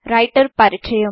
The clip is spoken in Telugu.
రైటర్ పరిచయం